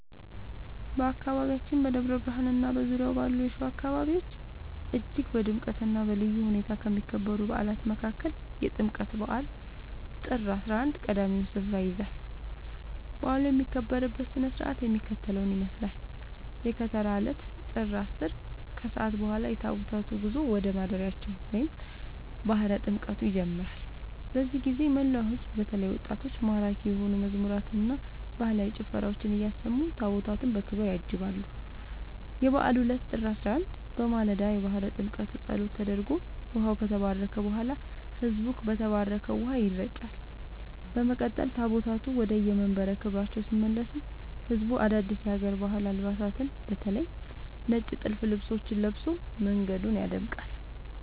በአካባቢያችን በደብረ ብርሃንና በዙሪያው ባሉ የሸዋ አካባቢዎች እጅግ በድምቀትና በልዩ ሁኔታ ከሚከበሩ በዓላት መካከል የጥምቀት በዓል (ጥር 11) ቀዳሚውን ስፍራ ይይዛል። በዓሉ የሚከበርበት ሥነ ሥርዓት የሚከተለውን ይመስላል፦ የከተራ ዕለት (ጥር 10)፦ ከሰዓት በኋላ የታቦታቱ ጉዞ ወደ ማደሪያቸው (ባሕረ ጥምቀቱ) ይጀምራል። በዚህ ጊዜ መላው ሕዝብ በተለይም ወጣቶች ማራኪ የሆኑ መዝሙራትንና ባህላዊ ጭፈራዎችን እያሰሙ ታቦታቱን በክብር ያጅባሉ። የበዓሉ ዕለት (ጥር 11)፦ በማለዳው የባሕረ ጥምቀቱ ጸሎት ተደርጎ ውኃው ከተባረከ በኋላ፣ ሕዝቡ በተባረከው ውኃ ይረጫል። በመቀጠል ታቦታቱ ወደየመንበረ ክብራቸው ሲመለሱ ሕዝቡ አዳዲስ የሀገር ባህል አልባሳትን (በተለይ ነጭ ጥልፍ ልብሶችን) ለብሶ መንገዱን ያደምቃል።